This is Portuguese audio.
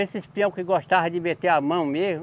Esses peão que gostava de meter a mão mesmo.